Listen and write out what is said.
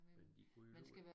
Men de kunne alligevel